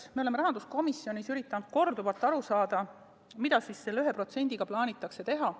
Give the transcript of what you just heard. Me oleme rahanduskomisjonis üritanud korduvalt aru saada, mida siis selle 1%-ga plaanitakse teha.